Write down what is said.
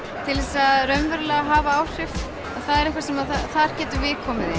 til að raunverulega hafa áhrif þar getum við komið inn